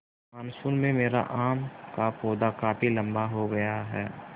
monsoon में मेरा आम का पौधा काफी लम्बा हो गया है